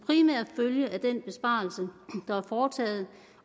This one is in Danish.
følge af den besparelse der er foretaget